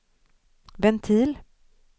ventil